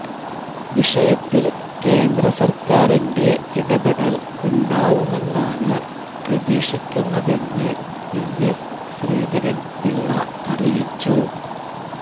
വിഷയത്തില് കേന്ദ്രസര്ക്കാരിന്റെ ഇടപെടല് ഉണ്ടാവുമെന്നാണ് പ്രതീക്ഷിക്കുന്നതെന്ന് പിഎസ് ശ്രീധരന് പിള്ള അറിയിച്ചു